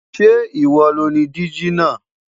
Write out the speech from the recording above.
Ṣe iwo lo ni diji naa